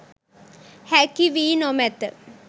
හැකි වී නොමැත.